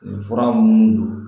Nin fura munnu don